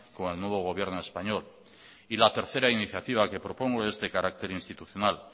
con el nuevo gobierno español y la tercera iniciativa que propongo es de carácter institucional